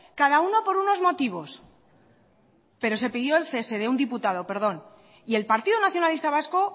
cada uno por unos motivos pero se pidió el cese de un diputado perdón y el partido nacionalista vasco